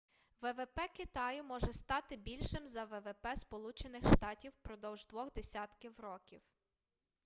ввп китаю може стати більшим за ввп сполучених штатів впродовж двох десятків років